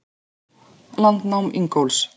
Landnám Ingólfs.